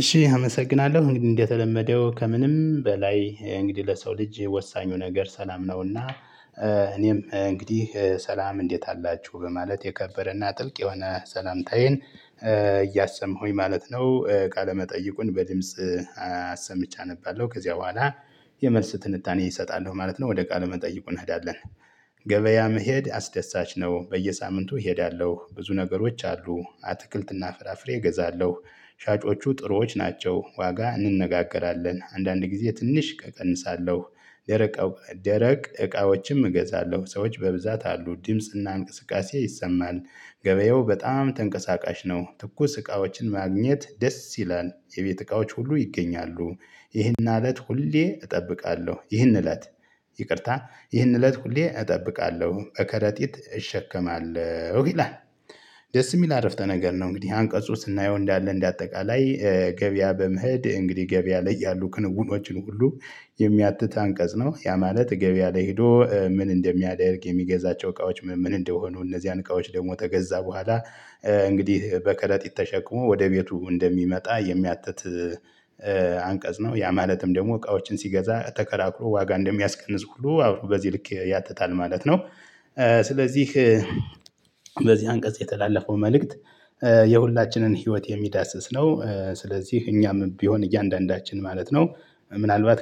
እሺ አመሰግናለሁ እንግዲህ እንደተለመደው ከምንም በላይ እንግዲህ ለሰው ልጅ ወሳኙ ነገር ሰላም ነውና እኔም እንግዲህ ሰላም እንዴት አላችሁ በማለት የከበረና ጥልቅ የሆነ ሰላምታዬን እያሰማሁኝ ማለት ነው። ቃለመጠይቁን በድምጽ አሰምቼ አነባለው ከዚያ በኋላ የመልስ ትንታኔ እሰጣለሁ ማለት ነው ወደ ቃለ መጠይቁ እንሄዳለን ገበያ መሄድ አስደሳች ነው። በየሳምንቱ እሄዳለሁ ብዙ ነገሮች አሉ። አትክልትና ፍራፍሬ እገዛለሁ፤ ሻጮቹ ጥሩዎች ናቸው። ዋጋ እንነጋገራለን አንዳንድ ጊዜ ትንሽ እቀንሳለሁ ደረቅ ደረቅ እቃዎችም እገዛለሁ ሰዎች በብዛት አሉ ድምጽና እንቅስቃሴ ይሰማል ገበያው በጣም ተንቀሳቃሽ ነው። ትኩስ እቃዎችን ማግኘት ደስ ይላል የቤት እቃዎች ሁሉ ይገኛሉ ይህን እለት ሁሌ እጠብቃለሁ ይህን እለት ይቅርታ ይህን እለት ሁሌ እጠብቃለሁ እከረጢት እሸከማለሁ ይላል ደስ የሚል አረፍተ ነገር ነው። እንግዲህ አንቀጹ ስናየው እንዳለ እንደ አጠቃላይ ገበያ በመሄድ እንግዲህ ገበያ ላይ ያሉ ክንውኖችን ሁሉ የሚያትት አንቀጽ ነው ያ ማለት ገበያ ላይ ሄዶ ምን እንደሚያደርግ የሚገዛቸው እቃዎች ምን ምን እንደሆኑ እነዚያን እቃዎች ደግሞ ተገዛ በኋላ እንግዲህ በከረጢት ተሸክሞ ወደ ቤቱ እንደሚመጣ የሚያትት አንቀጽ ነው። ያ ማለትም ደግሞ እቃዎችን ሲገዛ ተከራክሮ ዋጋ እንደሚያስቀንስ ሁሉ አብሮ በዚህ ልክ ያትታል ማለት ነው። ስለዚህ በዚህ አንቀጽ የተላለፈው መልእክት የሁላችንን ህይወት የሚዳስስ ነው ስለዚህ እኛም ቢሆን እያንዳንዳችን ማለት ነው ምናልባት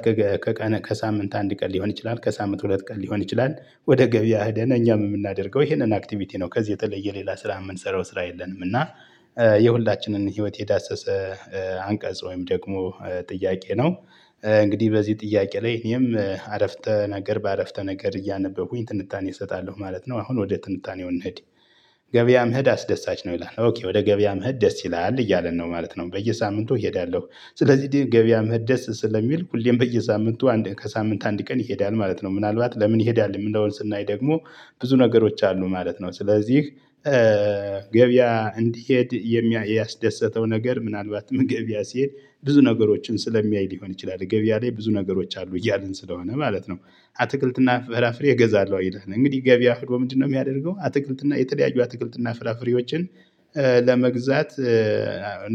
ከሳምንት አንድ ቀን ሊሆን ይችላል ከሳምንት ሁለት ቀን ሊሆን ይችላል ወደ ገበያ ሄደን እኛም የምናደርገው ይሄንን አክቲቪቲ ነው። ከዚህ የተለየ ሌላ ስራ የምንሰራው ስራ የለንም እና የሁላችንን ህይወት የዳሰሰ አንቀጽ ወይም ደግሞ ጥያቄ ነው እንግዲህ በዚህ ጥያቄ ላይ እኔም አረፍተ ነገር በአረፍተ ነገር እያነበብኩኝ ትንታኔ እሰጣለሁ ማለት ነው አሁን ወደ ትንታኔው እንሂድ ገበያ መሄድ አስደሳች ነው ይላል ኦኬ ወደ ገበያ መሄድ ደስ ይላል እያለን ነው ማለት ነው በየሳምንቱ እሄዳለሁ ስለዚህ ገበያ መሄድ ደስ ስለሚል ሁሌም በየሳምንቱ ከሳምንት አንድ ቀን ይሄዳል ማለት ነው ምናልባት ለምን ይሄዳል የሚለውን ስናይ ደግሞ ብዙ ነገሮች አሉ ማለት ነው ስለዚህ ገበያ እንዲሄድ የሚ ያስደስተው ነገር ምናልባትም ገበያ ሲሄድ ብዙ ነገሮችን ስለሚያይ ሊሆን ይችላል ገበያ ላይ ብዙ ነገሮች አሉ እያልን ስለሆነ ማለት ነው። አትክልትና ፍራፍሬ እገዛለሁ ይላል እንግዲህ ገቢያ ሄዶ ምንድነው የሚያደርገው አትክልትና የተለያዩ አትክልትና ፍራፍሬዎችን ለመግዛት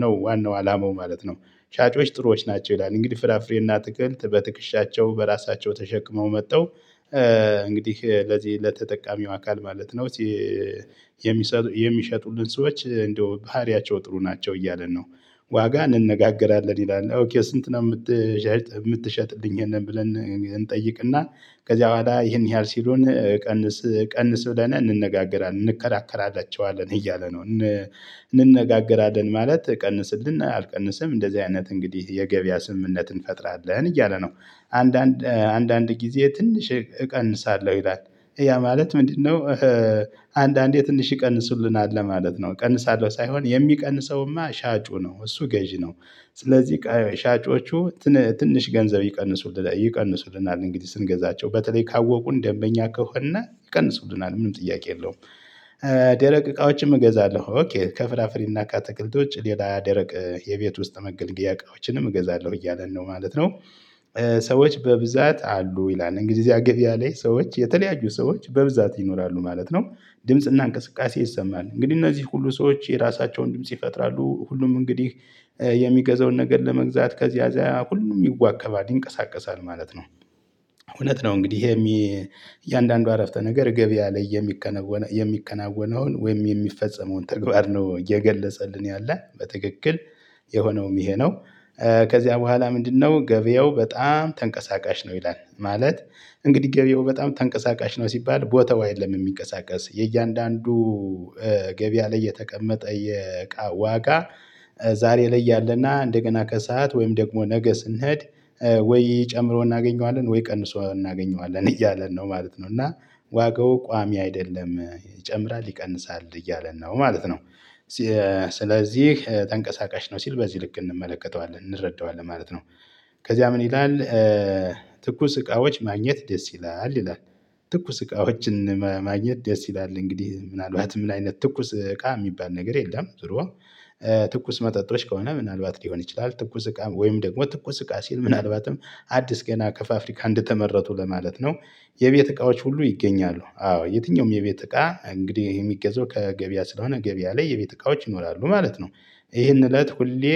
ነው ዋናው አላማው ማለት ነው ሻጮች ጥሩዎች ናቸው ይላል እንግዲህ ፍራፍሬና አትክልት በትክሻቸው በራሳቸው ተሸክመው መጥተው እንግዲህ ለዚህ ለተጠቃሚው አካል ማለት ነው የሚሸጡልን ሰዎች እንደው ባህሪያቸው ጥሩ ናቸው እያልን ነው። ዋጋ እንነጋገራለን ይላል ስንት ነው የምትሸጥ የምትሸጥልኝ ብለን እንጠይቅና ከዚያ በኋላ ይሄን ያህል ሲሉን ቀንስ ቀንስ ብለን እንነጋገራለን እንከራከራላቸዋለን እያለ ነው እንነጋገራለን ማለት ቀንስልና አልቀንስም እንደዚህ አይነት እንግዲህ የገበያ ስምምነትን እንፈጥራለን እያለ ነው። አንዳንድ አንዳንድ ጊዜ ትንሽ እቀንሳለሁ ይላል ያ ማለት ምንድነው አንዳንዴ ትንሽ ይቀንሱልናል ለማለት ነው እቀንሳለሁ ሳይሆን የሚቀንሰውማ ሻጩ ነው እሱ ገዢ ነው ስለዚህ ሻጮቹ ትንሽ ገንዘብ ይቀንሱልናል እንግዲህ ስንገዛቸው በተለይ ካወቁ እንደምበኛ ከሆነ ይቀንሱሉናል ምንም ጥያቄ የለውም ደረቅ እቃዎችን እገዛለሁ ኦኬ ከፍራፍሬና ከአታክልት ውጭ ሌላ ደረቅ የቤት ውስጥ መገልገያ እቃዎችንም እገዛለሁ እያለን ነው ማለት ነው ሰዎች በብዛት አሉ ይላል እንግዲህ እዚያ ገብያ ላይ ሰዎች የተለያዩ ሰዎች በብዛት ይኖራሉ ማለት ነው ድምጽና እንቅስቃሴ ይሰማል እንግዲህ እነዚህ ሁሉ ሰዎች የራሳቸውን ድምጽ ይፈጥራሉ ሁሉም እንግዲህ የሚገዛውን ነገር ለመግዛት ከዚያ አዛያ ሁሉም ይዋከባል ይንቀሳቀሳል ማለት ነው። እውነት ነው እንግዲህ ይሄ እያንዳንዱ አረፍተ ነገር ገበያ ላይ የሚከናወነውን ወይም የሚፈጸመውን ተግባር ነው የገለጸልን ያለ በትክክል የሆነውም ይሄ ነው ከዚያ በኋላ ምንድነው ገበያው በጣም ተንቀሳቃሽ ነው ይላል ማለት እንግዲህ ገበያው በጣም ተንቀሳቃሽ ነው ሲባል ቦታው አየለም የሚንቀሳቀስ የእያንዳንዱ ገቢያ ላይ የተቀመጠ የእቃ ዋጋ ዛሬ ላይ ያለና እንደገና ከሰአት ወይም ደግሞ ነገ ስንሄድ ወይ ጨምሮ እናገኘዋለን ወይ ቀንሶ እናገኘዋለን እያለን ነው ማለት ነው እና ዋጋው ቋሚ አይደለም ይጨምራል ይቀንሳል እያለ ነው ማለት ነው ስለዚህ ተንቀሳቃሽ ነው ሲል በዚ ልክ እንመለከተዋለን እንረዳዋለን ማለት ነው ከዚያ ምን ይላል ትኩስ እቃዎች ማግኘት ደስ ይላል ይላል ትኩስ እቃዎችን ማግኘት ደስ ይላል እንግዲህ ምናልባትም ምን አይነት ትኩስ እቃ ሚባል ነገር የለም ዙሮ ትኩስ መጠጦች ከሆነ ምናልባት ሊሆን ይችላል ትኩስ እቃ ወይም ደግሞ ትኩስ እቃ ሲል ምናልባትም አዲስ ገና ከፋፍሪካ እንደተመረቱ ለማለት ነው የቤት እቃዎች ሁሉ ይገኛሉ አዎ የትኛውም የቤት እቃ እንግዲህ ሚገዛው ከገበያ ስለሆነ ገበያ ላይ የቤት እቃዎች ይኖራሉ ማለት ነው ይሄን እለት ሁሌ